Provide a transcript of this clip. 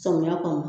Samiyɛ kɔnɔ